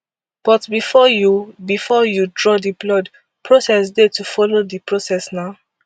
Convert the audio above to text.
but bifor you bifor you draw blood process dey to follow di process na